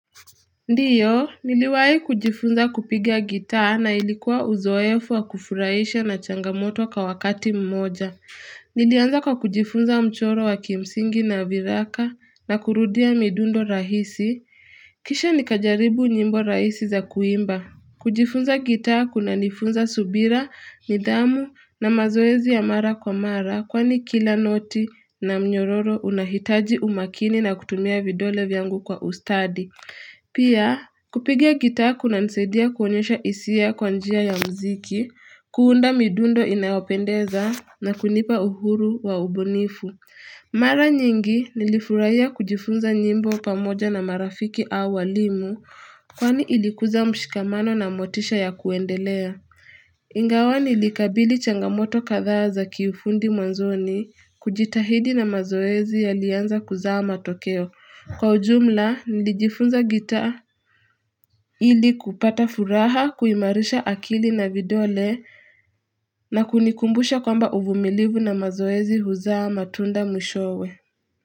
Ndiyo, niliwahi kujifunza kupiga gitaa na ilikuwa uzoefu wa kufurahisha na changamoto kawakati mmoja. Nilianza kwa kujifunza mchoro wa kimsingi na viraka na kurudia midundo rahisi. Kisha nikajaribu nyimbo rahisi za kuimba. Kujifunza gitaa kuna nifunza subira, midhamu na mazoezi ya mara kwa mara. Kwani kila noti na mnyororo unahitaji umakini na kutumia vidole vyangu kwa ustadi. Pia kupiga gitaa kunanisadia kuonyosha hisia kwa njia ya mziki, kuunda midundo inayopendeza na kunipa uhuru wa ubunifu. Mara nyingi nilifurahia kujifunza nyimbo pamoja na marafiki au walimu kwani ilikuza mshikamano na motisha ya kuendelea. Ingawa nilikabili changamoto kadhaa za kiufundi mwanzoni kujitahidi na mazoezi yalianza kuzaa matokeo. Kwa ujumla nilijifunza gitaa ili kupata furaha kuimarisha akili na vidole na kunikumbusha kwamba uvumilivu na mazoezi huzaa matunda mwisho we.